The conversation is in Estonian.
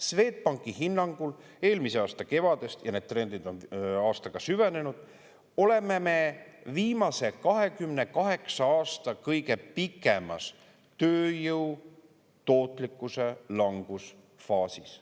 Swedbanki hinnangul eelmise aasta kevadest – ja need trendid on aastaga süvenenud – oleme me viimase 28 aasta kõige pikemas tööjõu tootlikkuse languse faasis.